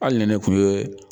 Hali ni ne kun ye